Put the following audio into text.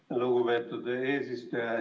Aitäh, lugupeetud eesistuja!